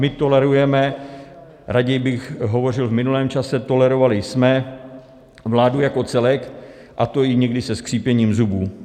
My tolerujeme - raději bych hovořil v minulém času - tolerovali jsme vládu jako celek, a to i někdy se skřípěním zubů.